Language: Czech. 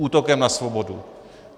Útokem na svobodu.